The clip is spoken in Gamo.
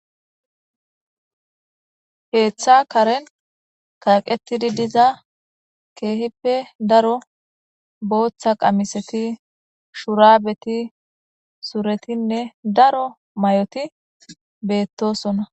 Keeththa karen kaqetidi diza keehippe daro booththa qamisati,shurabeti suretinne daro mayoti beetosona.